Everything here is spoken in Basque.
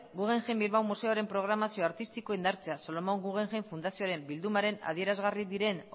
guggemheim bilbao museoaren programazio artistikoa indartzea solomon guggenheim fundazioaren bildumaren adierazgarri diren